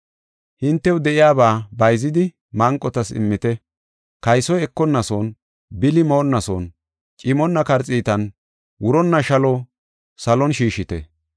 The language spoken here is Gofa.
Hintew de7iyaba bayzidi manqotas immite. Kaysoy ekonnason, bili moonnason, cimonna karxiitan, wuronna shalo salon shiishite.